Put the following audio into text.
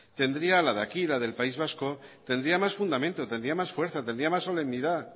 tendría la de aquí la del país vasco tendría más fundamento tendría más fuerza tendría más solemnidad